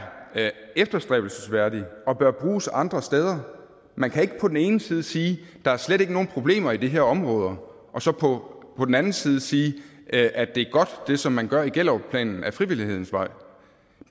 efterstræbelsesværdig og bør bruges andre steder man kan ikke på den ene side sige at der slet ikke er nogen problemer i de her områder og så på på den anden side sige at det som man gør i gellerupplanen ad frivillighedens vej